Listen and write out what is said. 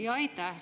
Jaa, aitäh!